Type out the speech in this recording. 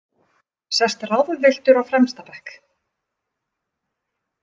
Sest ráðvilltur á fremsta bekk.